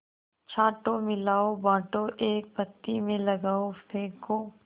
छाँटो मिलाओ बाँटो एक पंक्ति में लगाओ फेंको